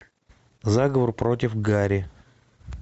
заговор против гари